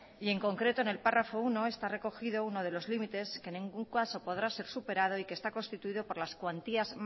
y en concreto en el párrafo uno está recogido uno de los límites que en ningún caso podrá ser superado y que está constituido por las cuantías